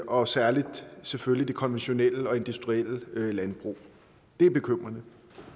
og særlig selvfølgelig det konventionelle og industrielle landbrug det er bekymrende